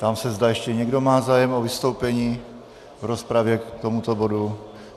Ptám se, zda ještě někdo má zájem o vystoupení v rozpravě k tomuto bodu.